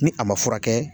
Ni a ma furakɛ